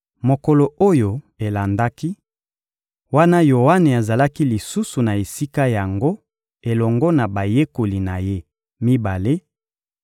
Mokolo oyo elandaki, wana Yoane azalaki lisusu na esika yango elongo na bayekoli na ye mibale,